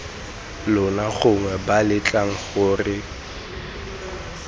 lona gongwe b letlang gore